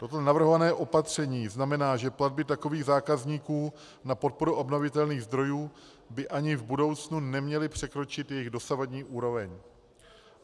Toto navrhované opatření znamená, že platby takových zákazníků na podporu obnovitelných zdrojů by ani v budoucnu neměly překročit jejich dosavadní úroveň.